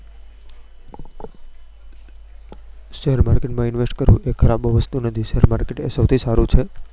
Cell માર્કેટમાં invest એ ખરાબ ખરાબ વસ્તુ નથી share Market એ સૌથી સારું છે.